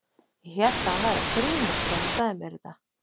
Ég hélt að hann væri að grínast þegar hann sagði mér þetta.